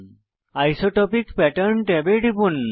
isotropic pattern ট্যাবে টিপুন